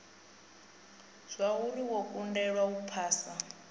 zwauri wo kundelwa u phasa